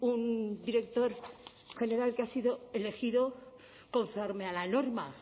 un director general que ha sido elegido conforme a la norma